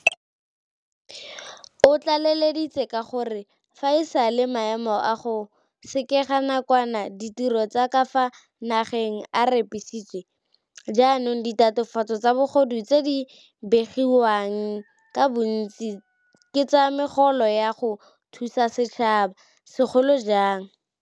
O tlaleleditse ka gore fa e sale maemo a go sekega nakwana ditiro tsa ka fa nageng a repisiwa, jaanong ditatofatso tsa bogodu tse di begiwang ka bontsi ke tsa megolo ya go thusa setšhaba, segolo jang